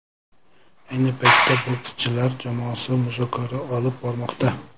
Ayni paytda bokschilar jamoasi muzokara olib bormoqda.